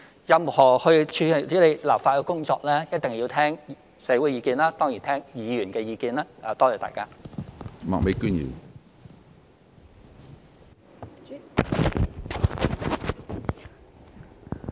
任何處理立法的工作，一定要聽社會的意見，也當然聽議員的意見。